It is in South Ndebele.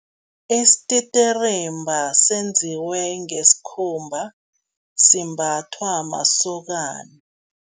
Isititirimba senziwe ngesikhumba, simbathwa masokana.